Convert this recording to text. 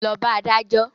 Lọ bá adájọ́!